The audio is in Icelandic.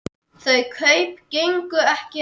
Þau kaup gengu ekki eftir.